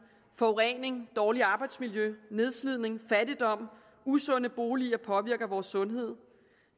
forurening dårligt arbejdsmiljø nedslidning fattigdom usunde boliger påvirker vores sundhed